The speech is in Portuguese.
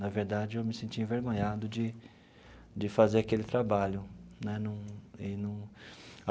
Na verdade, eu me sentia envergonhado de de fazer aquele trabalho né num eu num.